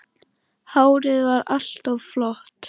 Hárið var alltaf flott.